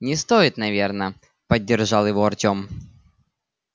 не стоит наверное поддержал его артём